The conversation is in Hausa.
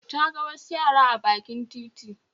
Ta ga wasu yara a bakin titi